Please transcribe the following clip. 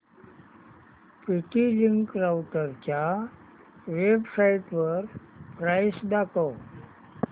TP Link राउटरच्या वेबसाइटवर price दाखव